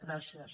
gràcies